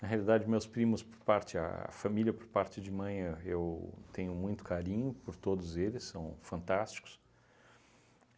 Na realidade, meus primos por parte, a família por parte de mãe, eu tenho muito carinho por todos eles, são fantásticos.